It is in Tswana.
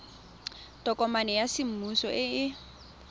tokomane ya semmuso e e